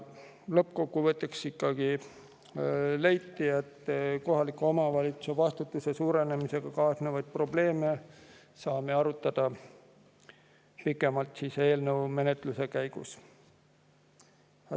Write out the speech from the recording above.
Lõppkokkuvõttes ikkagi leiti, et kohaliku omavalitsuse vastutuse suurenemisega kaasnevaid probleeme saame arutada pikemalt eelnõu menetluse käigus.